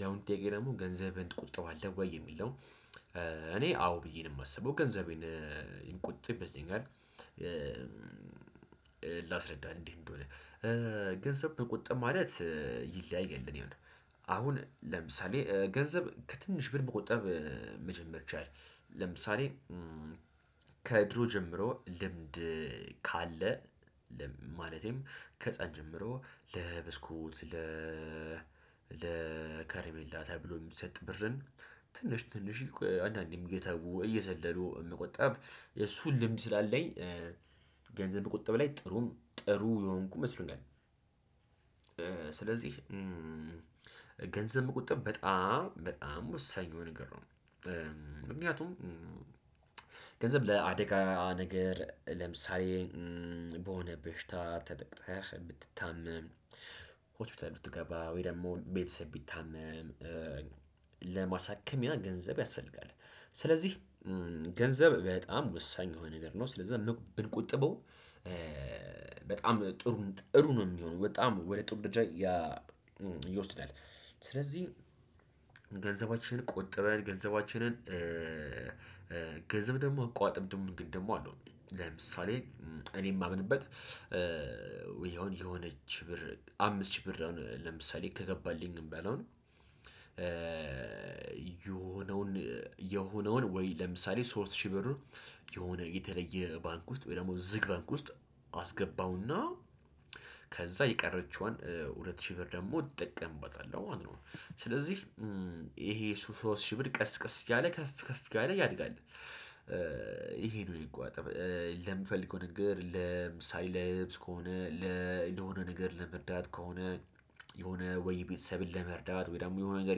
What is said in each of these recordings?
ያሁኑ ጥያቄ ደግሞ ገንዘብህን ትቆጥባለህ ወይ የሚል ነው? እኔ አዎ ብዬን የማስበው ገንዘቤን የምቆጥብ ይመስለኛል። ላስረዳ እንዴት እንደሆነ? ገንዘብ መቆጠብ ማለት ይለያያል እኔ አሁን ለምሳሌ ገንዘብ ከትንሽ ብር መቆጠብ መጀመር ይቻላል። ለምሳሌ ከድሮ ጀምሮ ልምድ ካለ ማለቴም ከህፃንነት ጀምሮ ለብስኩት ለ ለከረሜላ ተብሎ የሚሰጥ ብርን ትንሽ ትንሽ አንዳንዴም እየተው እዘለሉ የመቆጠብ የሱን ልምድ ስላለኝ ገንዘብ ቁጠብ ላይ ጥሩም ጥሩ የሆንኩኝ መስሎኛል። ስለዚህ ገንዘብ መቆጠብ በጣም በጣም ወሳኝ የሆነ ነገር ነው። ምክንያቱም ገንዘብ ለአደጋ ነገር ለምሳሌ በሆነ በሽታ ተጠቅጠህ ብትታመም ሆስፒታል ብትገባ ወይ ደግሞ ቤተሰብ ቢታመም ለማሳከም ያ ገንዘብ ያስፈልጋል። ስለዚህ ገንዘብ በጣም ወሳኝ የሆነ ነገር ነው ስለዛ ብትቆጥበው በጣም ጥሩ ጥሩ ነው የሚሆነው በጣም ወደ ጥሩ ደረጃ ያ ይወስዳል። ስለዚህ ገንዘባችንን ቆጠበን ገንዘባችንን ገንዘብ ደግሞ አቆጣጠብ ደግሞ እንግድ ደግሞ አለው። ለምሳሌ እኔ የማምንበት ወይ አሁን የሆነች ብር አምስት ሺህ ብር ነው። ለምሳሌ ከገባልኝ እንበለው የሆነውን ወይ ለምሳሌ ሶስት ሺህ ብሩን የሆነ የተለየ ባንክ ውስጥ ወይ ደግሞ ዝግ ባንክ ውስጥ አስገባውና ከዛ የቀረችዋን ሁለት ሺህ ብር ደግሞ ትጠቀምበታለህ ማለት ነው። ስለዚህ ይሄ ሶስት ሺህ ብር ቀስ ቀስ እያለ ከፍ ከፍ እያለ ያድጋል። ይሄን ነው የሚቆጠብ ለምፈልገው ነገር ለምሳሌ ልብስ ከሆነ ለለሆነ ነገር ለመርዳት ከሆነ የሆነ ወይ ቤተሰብን ለመርዳት ወይ ደግሞ የሆነ ነገር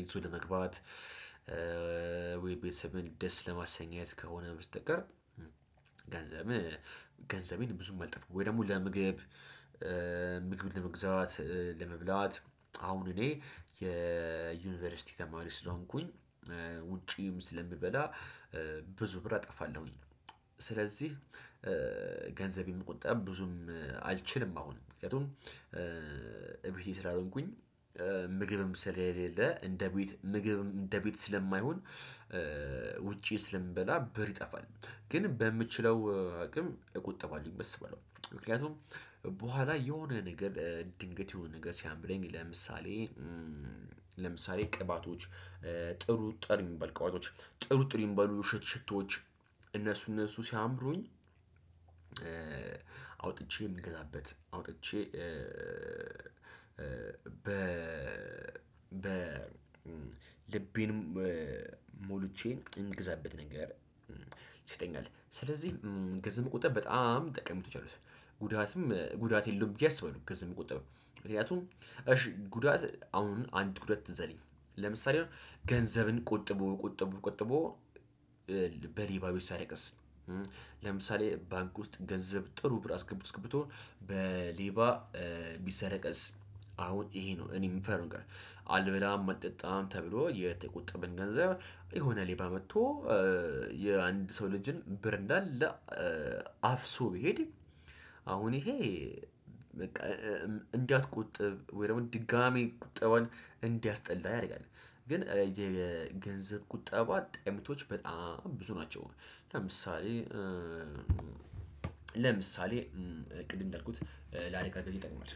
ይዞ ለመግባት ወይ ቤተሰብህን ደስ ለማሰኘት ከሆነ በስተቀር። ገንዘብ ገንዘቤን ብዙም አላጠፋም። ወይ ደግሞ ለምግብ ምግብ ለመግዛት ለመብላት አሁን እኔ የዩኒቨርሲቲ ተማሪ ስለሆንኩኝ ውጪም ስለምበላ ብዙ ብር እጠፋለሁኝ። ስለዚህ ገንዘቤም ቁጠብ ብዙም አልችልም። አሁን ምክንያቱም እቤቴ ስላልሆንኩኝ ምግብም ስለሌለ እንደ ቤት ምግብ እንደ ቤት ስለማይሆን ውጪ ስለምበላ ብር ይጠፋል። ግን በምችለው አቅም እቆጠባለሁኝ በስበለው ምክንያቱም በኋላ የሆነ ነገር ድንገት የሆነ ነገር ሲያምረኝ ለምሳሌ ለምሳሌ ቅባቶች ጥሩ ጥሩ የሚባሉ ቅባቶች ጥሩ ጥሩ የሚባሉ ሽቶዎች እነሱ እነሱ ሲያምሩኝ። አውጥቼ የምገዛበት አውጥቼ በ በ ልቤን ሞልቼ እንድገዛበት ነገር ይሰጠኛል ስለዚህ ገንዘብ ጠቀሜታወች አሉት በጣም ጠቀሜታወች አሉት። ጉዳትም ጉዳት የለውም ብዬ አስባለሁ። ገንዘብ መቆጠብ ምክንያቱም እሺ ጉዳት አሁን አንድ ጉዳት ትዝ አለኝ ለምሳሌ አሁን ገንዘብን ቆጥቦ ቆጥቦ ቆጥቦ በሌባ ቢሰረቅስ? ለምሳሌ ባንክ ውስጥ ገንዘብ ጥሩ ብር አስገብቶ አስገብቶ በሌባ ቢሰረቀስ? አሁን ይሄ ነው እኔም ምፈራው። አልበላም አልጠጣም ተብሎ የተቆጠበን ገንዘብ የሆነ ሌባ መጥቶ የአንድ ሰው ልጅን ብር እንዳለ አፍሶ ቢሄድ አሁን ይሄ በቃ እንዳትቆጥብ ወይ ደግሞ ድጋሚ ቁጠባን እንዲያስጠላህ ያደርጋል። ግን የገንዘብ ቁጠባ ጠቀሜታወች በጣም ብዙ ናቸው። ለምሳሌ ለምሳሌ ቅድም እንዳልኩት ለአደጋ ጊዜ ጊዜ ይጠቁማል።